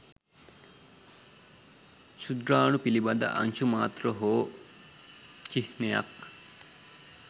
ක්ෂුද්‍රාණු පිළිබඳ අංශු මාත්‍ර හෝ චිහ්නයක්